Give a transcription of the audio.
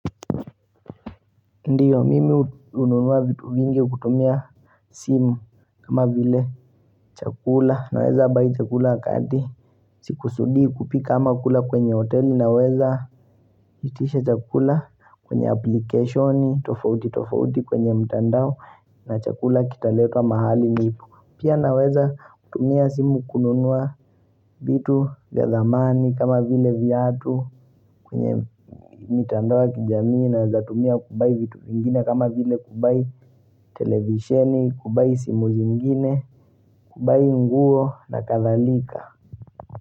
Ndiyo mimi hununua vitu vingi kutumia simu kama vile chakula naweza buy chakula kati Sikusudii kupika ama kula kwenye hoteli na weza itisha chakula kwenye application tofauti tofauti kwenye mtandao na chakula kitaletwa mahali nipo Pia naweza kutumia simu kununua vitu vya thamani kama vile vyatu kwenye mitandao ya kijamii naezatumia ku buy vitu vingine kama vile ku buy televisheni, ku buy simu zingine, ku buy nguo na kadhalika.